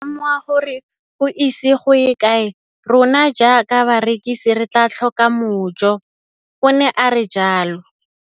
Ke ne ka lemoga gore go ise go ye kae rona jaaka barekise re tla tlhoka mojo, o ne a re jalo.